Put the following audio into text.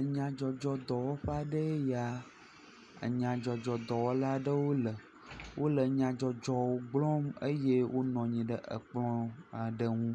Enyadzɔdzɔ dɔwɔƒe aɖee ya, enyadzɔdzɔ dɔwɔlawo le enyadzɔdzɔwo gblɔm eye wonɔ anyi ɖe ekplɔ aɖe ŋu.